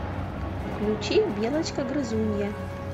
включи белочка грызунья